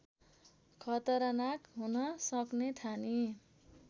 खतरनाक हुन सक्ने ठानी